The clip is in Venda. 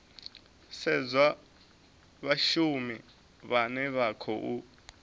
sedzwa vhashumi vhane vha khou